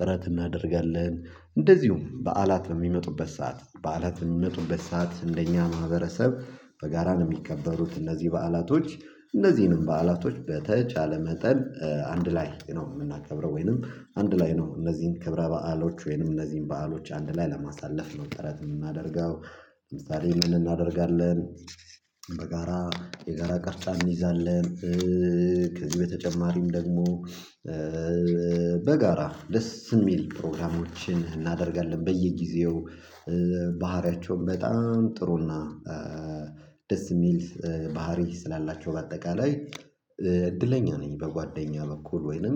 ጥረት እናደርጋለን። እንደዚሁም በዓላት በሚመጡበት ሰዓት በዓላት በሚመጡበት ሰዓት እንደኛ ማህበረሰብ በጋራ ነው የሚከበሩት። እነዚህ በዓላቶች እነዚህንም በዓላቶች በተቻለ መጠን አንድ ላይ ነው የምናከብረው። ወይንም አንድ ላይ ነው እነዚህን ክብረ በዓሎች ወይንም እነዚህን በዓሎች አንድ ላይ ለማሳለፍ ነው ጥረት የምናደርገው። ለምሳሌ ምን እናደርጋለን? በጋራ የጋራ ቅርጫን ይዛለን። ከዚህ በተጨማሪም ደግሞ በጋራ ደስ የሚል ፕሮግራሞችን እናደርጋለን በየጊዜው። ባህሪያቸውን በጣም ጥሩና ደስ የሚል ባህሪ ስላላቸው በአጠቃላይ እድለኛ ነኝ። በጓደኛ በኩል ወይንም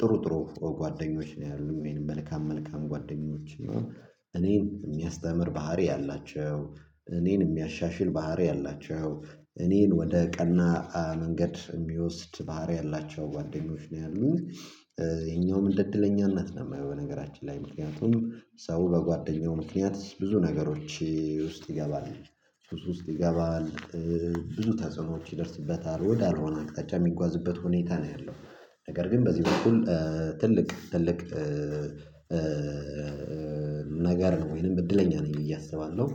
ጥሩ ጥሩ ጓደኞች ነው ያሉት ወይም መልካም መልካም ጓደኞች ነው። እኔን የሚያስተምር ባህሪ ያላቸው እኔን የሚያሻሽል ባህሪ ያላቸው እኔን ወደ ቀና መንገድ የሚወስድ ባህሪ ያላቸው ጓደኞች ነው ያሉት። የኛውም እንደ እድለኛነት ነው የማየው። በነገራችን ላይ ምክንያቱም ሰው በጓደኛው ምክንያት ብዙ ነገሮች ውስጥ ይገባል። ውስጥ ይገባል ብዙ ተጽዕኖዎች ይደርስበታል ወደ አልሆነ አቅጣጫ የሚጓዝበት ሁኔታ ነው ያለው። ነገር ግን በዚህ በኩል ትልቅ ትልቅ ነገር ነው ወይንም እድለኛ ነኝ ብዬ አስባለሁ።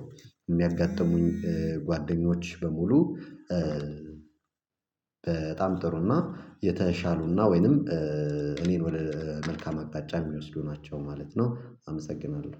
የሚያጋጥሙኝ ጓደኞች በሙሉ። በጣም ጥሩና የተሻሉና ወይንም እኔን ወደ መልካም አቅጣጫ የሚወስዱ ናቸው ማለት ነው። አመሰግናለሁ።